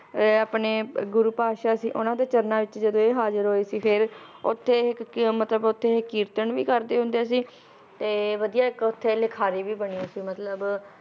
ਅਹ ਆਪਣੇ ਗੁਰੂ ਪਾਤਸ਼ਾਹ ਸੀ ਉਹਨਾਂ ਦੇ ਚਰਨਾਂ ਵਿਚ ਜਦੋ ਇਹ ਹਾਜ਼ਿਰ ਹੋਏ ਸੀ ਫੇਰ, ਓਥੇ ਇਹ ਕਿ ਮਤਲਬ ਓਥੇ ਇਹ ਕੀਰਤਨ ਵੀ ਕਰਦੇ ਹੁੰਦੇ ਸੀ, ਤੇ ਵਧੀਆ ਇਕ ਓਥੇ ਲਿਖਾਰੀ ਵੀ ਬਣੇ ਸੀ ਮਤਲਬ